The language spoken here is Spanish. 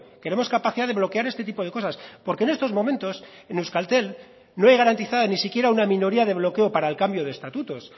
queremos capacidad de bloquear este tipo de cosas porque en estos momentos en euskaltel no hay garantizada ni siquiera una minoría de bloqueo para el cambio de estatutos